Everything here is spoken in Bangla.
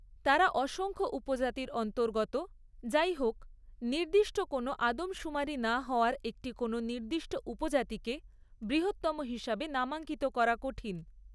তারা অসংখ্য উপজাতির অন্তর্গত; যাইহোক, নির্দিষ্ট কোনও আদমশুমারি না হওয়ায় একটি কোনও নির্দিষ্ট উপজাতিকে বৃহত্তম হিসাবে নামাঙ্কিত করা কঠিন।